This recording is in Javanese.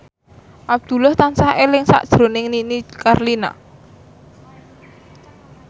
Abdullah tansah eling sakjroning Nini Carlina